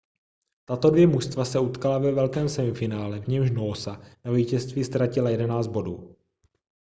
tato dvě mužstva se utkala ve velkém semifinále v němž noosa na vítěze ztratila 11 bodů